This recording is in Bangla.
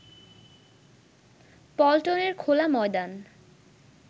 পল্টনের খোলা ময়দান